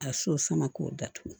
A so sama k'o datugu